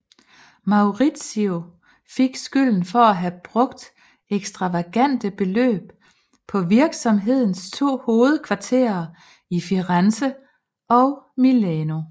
Maurizio fik skylden for at have brugt ekstravagante beløb på virksomhedens to hovedkvarterer i Firenze og Milano